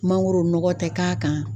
Mangoro nɔgɔ tɛ k'a kan